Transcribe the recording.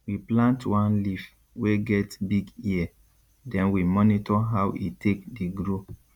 we plant one leaf wey get big ear den we monitor how e take dey grow